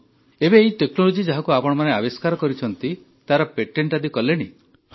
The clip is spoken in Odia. ଏବେ ଏହି ଟେକ୍ନୋଲୋଜି ଯାହାକୁ ଆପଣମାନେ ଆବିଷ୍କାର କରିଛନ୍ତି ତାର ପେଣ୍ଟେଟ ଆଦି କଲେଣି